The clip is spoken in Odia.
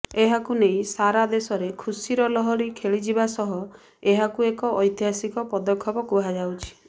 ଏହାକୁ ନେଇ ସାରା ଦେଶରେ ଖୁସିର ଲହରୀ ଖେଳିଯବା ସହ ଏହାକୁ ଏକ ଐତିହାସିକ ପଦକ୍ଷେପ କୁହାଯାଉଛି